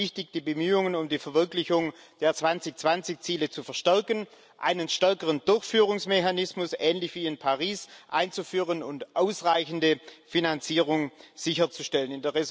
Dafür ist es wichtig, die Bemühungen um die Verwirklichung der 2020 Ziele zu verstärken, einen stärkeren Durchführungsmechanismus ähnlich wie in Paris einzuführen und ausreichende Finanzierung sicherzustellen.